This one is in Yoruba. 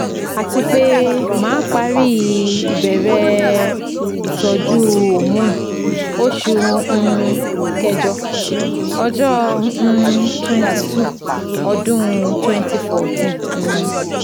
atipe ma pari ìbẹ̀rẹ̀ Ìtọ́jú hormone oṣù um kẹjọ Ọjọ́ um twenty two ọ́dún twenty fourteen um